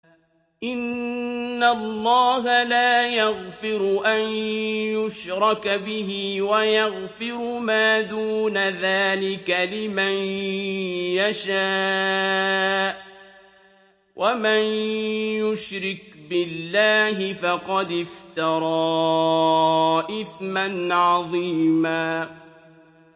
إِنَّ اللَّهَ لَا يَغْفِرُ أَن يُشْرَكَ بِهِ وَيَغْفِرُ مَا دُونَ ذَٰلِكَ لِمَن يَشَاءُ ۚ وَمَن يُشْرِكْ بِاللَّهِ فَقَدِ افْتَرَىٰ إِثْمًا عَظِيمًا